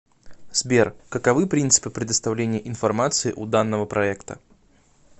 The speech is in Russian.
сбер каковы принципы предоставления информации у данного проекта